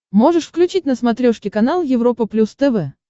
можешь включить на смотрешке канал европа плюс тв